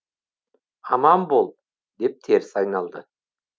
аман бол деп теріс айналды